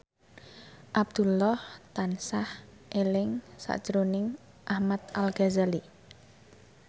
Abdullah tansah eling sakjroning Ahmad Al Ghazali